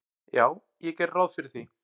"""Já, ég geri ráð fyrir því."""